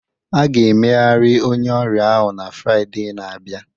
A ga-emegharị onye ọrịa ahụ na Fraịde na-abịa